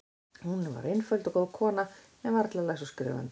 Hún var einföld og góð kona, en varla læs eða skrifandi.